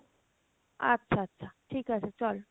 আচ্ছা আচ্ছা ঠিক আছে চল